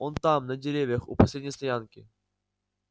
он там на деревьях у последней стоянки